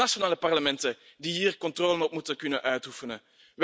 Het zijn de nationale parlementen die hier controle op moeten kunnen uitoefenen.